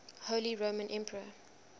holy roman emperor